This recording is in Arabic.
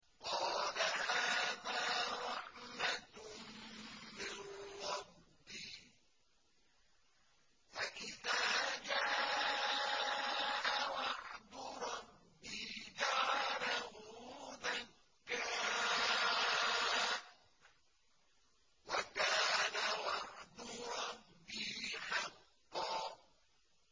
قَالَ هَٰذَا رَحْمَةٌ مِّن رَّبِّي ۖ فَإِذَا جَاءَ وَعْدُ رَبِّي جَعَلَهُ دَكَّاءَ ۖ وَكَانَ وَعْدُ رَبِّي حَقًّا